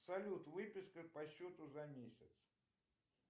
салют выписка по счету за месяц